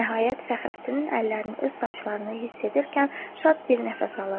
Nəhayət Fəxrəddinin əllərini öz saçlarında hiss edərkən şad bir nəfəs alırdı.